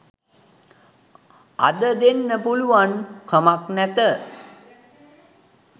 අද දෙන්න පුළුවන් කමන් නැත.